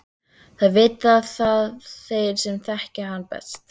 Það vita þeir sem þekkja hann best.